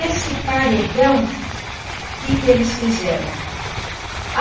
Esse paredão... o que que eles fizeram?